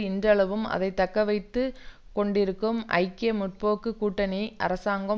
இன்றளவும் அதை தக்க வைத்து கொண்டிருக்கும் ஐக்கிய முற்போக்கு கூட்டணி அரசாங்கம்